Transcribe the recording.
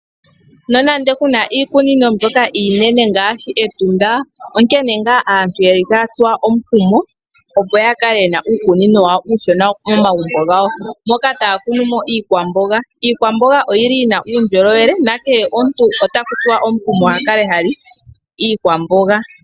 Nonando kuna iikunino mbyoka iinene ngaashi Etunda, onkene ngaa aantu yeli taya tsuwa omukumo, opo ya kale yena uukunino wawo uushona momagumbo gawo, moka taya kunu mo iikwamboga. Iikwamboga oyina uundjolowele, na kehe omuntu ota tsuwa omukumo opo akale hali iikwamboga.